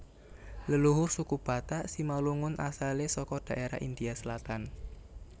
Leluhur suku Batak Simalungun asalé saka dhaérah India Selatan